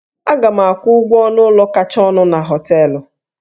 Aga m akwụ ụgwọ ọnụ ụlọ kacha ọnụ na hóteélụ̀